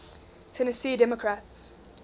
tennessee democrats